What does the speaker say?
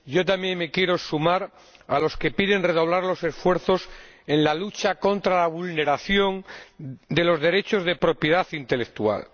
Señor Presidente, yo también me quiero sumar a los que piden redoblar los esfuerzos en la lucha contra la vulneración de los derechos de propiedad intelectual.